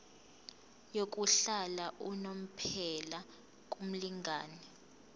yokuhlala unomphela kumlingani